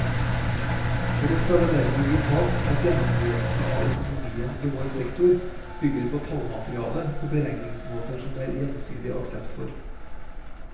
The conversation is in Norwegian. For oss er det derfor vitalt at gjennomgåelsen av økonomien i vår sektor bygger på tallmateriale og beregningsmåter som det er gjensidig aksept for.